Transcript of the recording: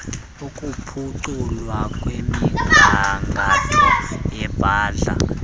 ukuphuculwa kwemigangatho yabadlali